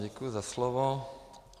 Děkuji za slovo.